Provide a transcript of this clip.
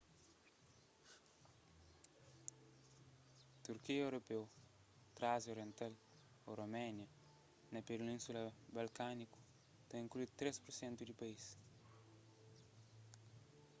turkia europeu trásia oriental ô rumelia na península balkániku ta inklui 3% di país